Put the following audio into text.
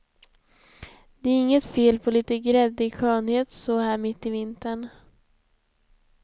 Det är inget fel på lite gräddig skönhet så här mitt i vintern.